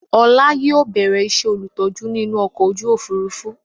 Ọlá yìí ó bẹ̀rẹ̀ ìṣe olùtọ́jú ni inú ọkọ̀ ojú Òfurufú